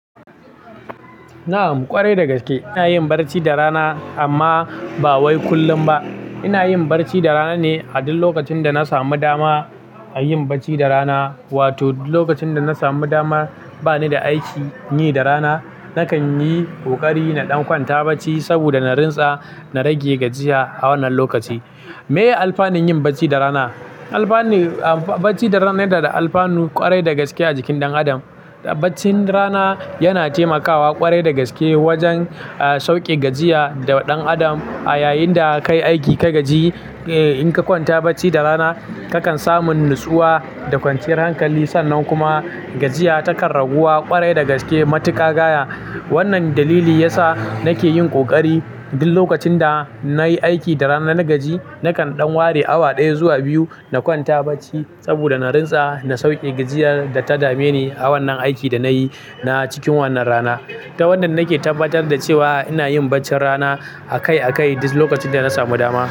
Na'am ƙwarai dagaske, ina yin barci da rana amma ba wai kullum ba. Ina yin barci da rana ne a duk lokacin da na samu dama a yin barci da rana. Wato duk lokacin da na samu dama bani da aikin yi da rana, nakan yi ƙoƙari na ɗan kwanta barci saboda na rinsa, na rage gajiya a wannan lokaci. Me alfanun yin barci da rana? Alfani, barci da rana yana da alfanu ƙwarai dagaske a jikin ɗan adam. Barcin rana yana taimakawa ƙwarai dagaske wajen, eh, sauƙe gajiya da ɗan Adam a yayinda kai aiki ka gaji, eh. In ka kwanta barci da rana, kakan samu natsuwa da kwanciyar hankali sannan kuma gajiya takar raguwa ƙwarai dagaske matuƙa gaya. Wannan dalili yasa nake yin ƙoƙari duk lokacin da nayi aiki da rana na gaji, nakan ɗan ware awa ɗaya zuwa biyu na kwanta barci saboda na rinsa na sauƙe gajiyar da ta dame ni a wannan aikin da nayi na cikin wannan rana. Ta wannan nake tabbatar da cewa ina yin barcin rana a kai a kai duk lokacin da na samu dama.